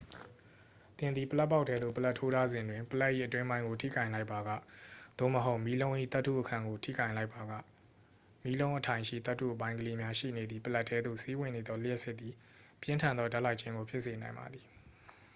သင်သည် ပလပ်ပေါက်ထဲသို့ ပလပ်ထိုးထားစဉ်တွင် ပလပ်၏အတွင်းပိုင်းကို ထိကိုင်လိုက်ပါက သို့မဟုတ် မီးလုံး၏သတ္တုအခံကိုထိကိုင်လိုက်ပါက မီးလုံးအထိုင်ရှိ သတ္တုအပိုင်းကလေးများရှိနေသည့် ပလပ်ထဲသို့ စီးဝင်နေသော လျှပ်စစ်သည် ပြင်းထန်သောဓာတ်လိုက်ခြင်းကို ဖြစ်စေနိုင်ပါသည်